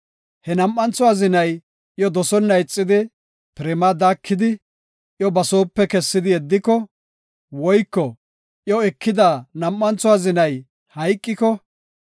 he nam7antho azinay iyo dosonna ixidi, pirimaa daakidi, iyo ba soope kessidi yeddiko, woyko iyo ekida nam7antho azinay hayqiko,